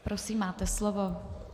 Prosím, máte slovo.